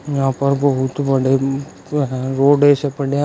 यहां पर बहुत बड़े जो हैं वो रोड ऐसे पड़े हैं।